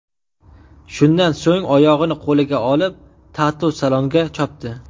Shundan so‘ng oyog‘ini qo‘liga olib, tatu-salonga chopdi.